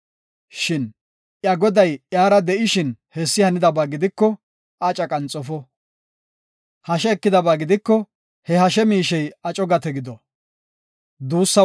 Shin iya goday iyara de7ishin hessi hanidaba gidiko aca qanxofo. Hashe ekidaba gidiko, he hashe miishey aco gate gido.